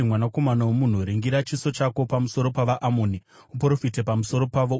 “Mwanakomana womunhu, ringira chiso chako pamusoro pavaAmoni uprofite pamusoro pavo.